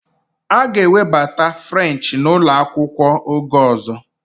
A ga-ewebata French n'ụlọ akwụkwọ, oge ọzọ